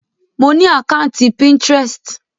Mo ni àkàntí Pinterest.